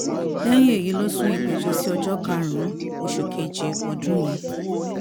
lẹ́yìn èyí ló sún ìgbẹ́jọ́ sí ọjọ́ karùn-ún oṣù keje ọdún yìí